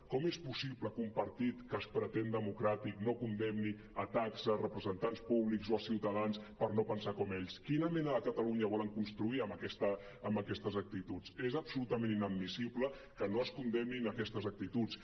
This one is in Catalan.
com és possible que un partit que es pretén democràtic no condemni atacs a representants públics o a ciutadans perquè no pensen com ells quina mena de catalunya volen construir amb aquestes actituds és absolutament inadmissible que no es condemnin aquestes actituds